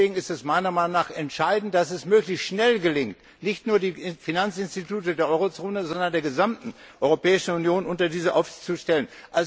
Deswegen ist es meiner Meinung nach entscheidend, dass es möglichst schnell gelingt, nicht nur die Finanzinstitute der Eurozone, sondern der gesamten Europäischen Union unter diese Aufsicht zu stellen.